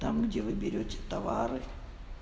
там где вы берёте товары